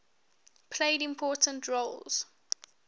played important roles